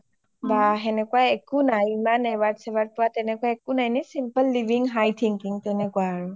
বা সেনেকুৱা একো নাই, ইমান award চাৱাৰ্ড পোৱা এনে simple living high thinking তেনেকুৱা আৰু